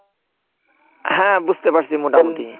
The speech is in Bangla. হ্যাঁ বুঝতে পারছি মোটামুটি।